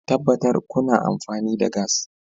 Tabbatar kuna amfani da gas